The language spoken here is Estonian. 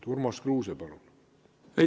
Urmas Kruuse, palun!